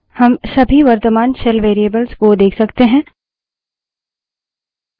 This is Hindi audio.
हम सभी वर्त्तमान shell variables को देख सकते हैं